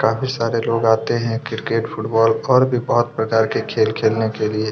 काफ़ी सारे लोग आते है क्रिकेट फुटबाल और भी बहोत प्रकार के खेल खेलने के लिए।